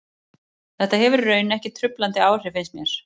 Þetta hefur í raun ekki truflandi áhrif finnst mér.